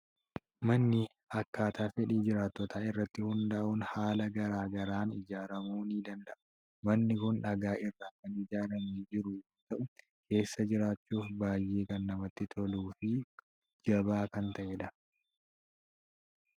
Manni akkaataa fedhii jiraattotaa irratti hundaa'uun haala garaa garaan ijaaramuu ni danda'a. Manni kun dhagaa irraa kan ijaaramee jiru yoo ta'u, keessa jiraachuuf baay'ee kan namatti toluu fi jabaa kan ta'edha!